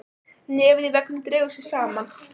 Nefið í veggnum dregur sig saman.